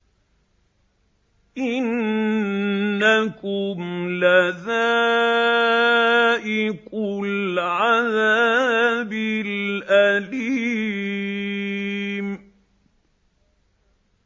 إِنَّكُمْ لَذَائِقُو الْعَذَابِ الْأَلِيمِ